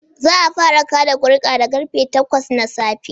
Za'a fara kaɗa kuri'a da karfe takwas na safe